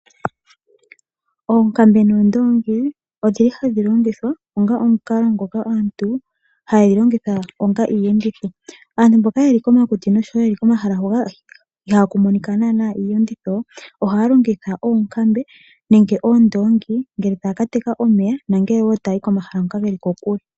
Oonkambe noondongi odhili hadhi longithwa onga omukalo ngoka aantu haye dhi longitha onga iiyenditho. Aantu mboka yeli komakuti nosho wo mboka ye li komahala hoka ihaku monika iiyenditho ohaya longitha oonkambe nenge oondongi uuna taya ka teka omeya nenge taya yi komahala ngoka ge li kokule.